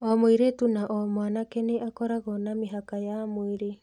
O mũirĩtu na o mwanake nĩ akoragwo na mĩhaka ya mwĩrĩ.